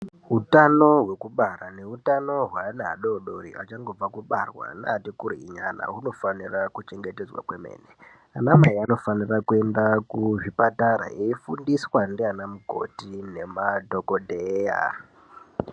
Hutano hwekubara nehutano hwevana vadodori vachangobva kubarwa newati kurei nyana hunofanirwa kuchengetedzwa kwemene ana mai anofanira kuenda Kuzvipatara eifundiswa ndivana mukoti nemadhokoteya.